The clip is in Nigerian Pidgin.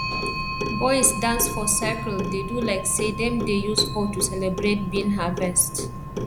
boys dance for circle dey do like say dem dey use hoe to celebrate bean harvest